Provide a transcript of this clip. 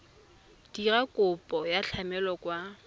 dira kopo ya tlamelo kwa